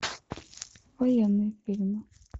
военные фильмы